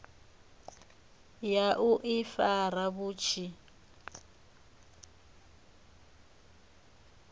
ya u ifara vhu tshi